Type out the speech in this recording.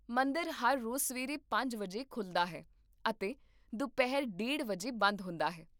ਮੰਦਰ ਹਰ ਰੋਜ਼ ਸਵੇਰੇ ਪੰਜ ਵਜੇ ਖੁੱਲ੍ਹਦਾ ਹੈ ਅਤੇ ਦੁਪਹਿਰ ਡੇਢ ਵਜੇ ਬੰਦ ਹੁੰਦਾ ਹੈ